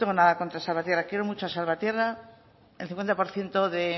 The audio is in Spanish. tengo contra salvatierra quiero mucho a salvatierra el cincuenta por ciento de